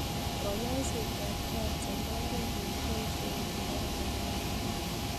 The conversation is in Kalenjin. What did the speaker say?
Kanyaiset ap kansa ko oret ne kibaishe kepare mokongiot